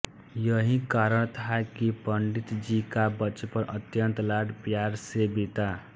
यही कारण था की पंडित जी का बचपन अत्यंत लड़ प्यार से बीता